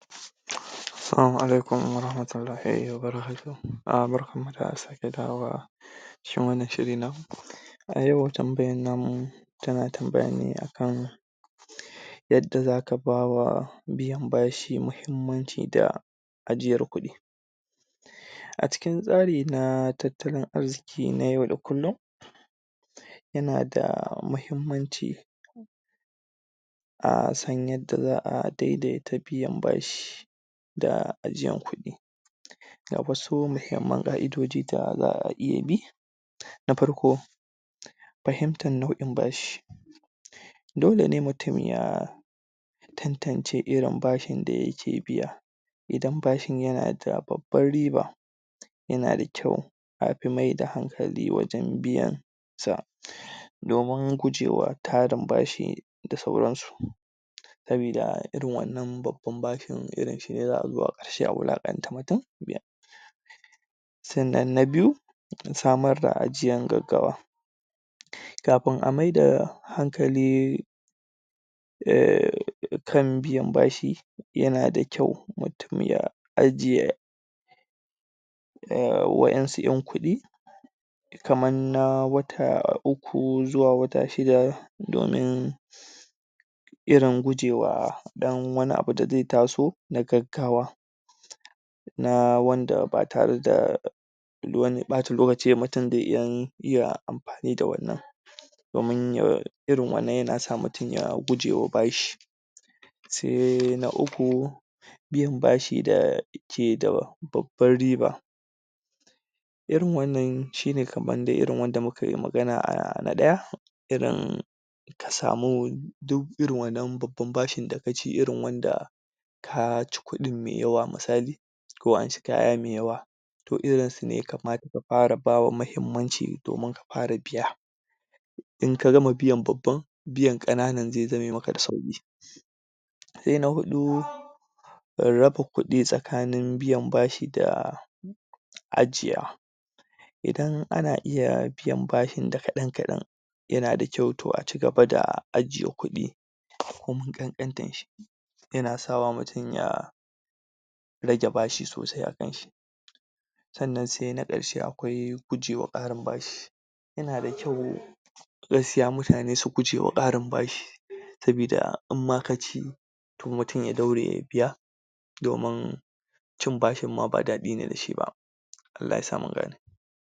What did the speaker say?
Salama alaikum...... barkanmu da sake dawowa, wannan shiri namu. A yau tambayar namu tana tambaya ne akan yadda za ka bawa, biyan bashi muhimmanci da ajiyar kuɗi. A cikin tsari na tattalin arziki na yau da kullum, yan da muhimmanci, a san yadda za a dai daita biyan bashi da ajiyar kuɗi. Ga wasu muhimman ka'idodi da za'a iya bi; Na farko: Fahimtar NAu'in Bashi. Dole ne mutum ya tantance irin bashin da yake biya idan bashin yana da babbar riba, yana da kyau afi mai da hankali wajen biyan sa, domin gujewa tarin bashoi da sauran su. Saboda irin wannan babban bashin irin shine za a zo a wulaƙanta mutum. Sannan na Biyu: Samar da Ajiyar Gaggawa. Kafin a mai da hankali kan biyan bashi, yana da kyau mutum ya ajiye waɗansu yan kuɗi kamar na wata uku ko zuwa wata shida domin irin gujewa ɗan wani abu da zai taso na gaggawa. na wanda ba tare da wani ɓata lokaci ba mutum zai iya amfani da wannan domin ya irin wannan yana sa mutum ya mutum ya gujewa bashi. Sai na Uku: Biyan Bashi da Yake da Babban Riba. Irin wannan shine kamn dai wnda muka yi magana a na ɗaya, irin ka samu duk irin wannan babban bashin da ka ci irin wanda ka ci kuɗin mai yawa, misali; ko amshi kaya mai yawa, to irin su ne ya kamata ka fara bawa muhimmanci domin ka fara biya in ka gama biyan babban, biyan ƙananan zai biye maka da sauki. Na Huɗu: Raba Kuɗi TsakaninBiyan Bashi da Ajiya. Idan ana iya biyan bashin da kaɗan-kaɗan, yana da kyau, tom a ci gaba da ajiye kuɗi ko mai ƙanƙantarshi yana sawa mutum ya rage bashi sosai akanshi. Sannan sai na ƙarshe, akwai Gujewa Ƙarin Bashi. Ina da kyau gaskiya mutane su gujewa ƙarin bashi saboda inma ka ci tomutum ya daure ya biya domin cin bashin ma ba daɗi ne da shi ba, Allah ya sa mu gane.